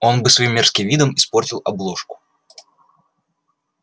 он бы своим мерзким видом испортил обложку